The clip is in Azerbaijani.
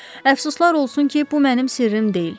Əfsuslar olsun ki, bu mənim sirrim deyil.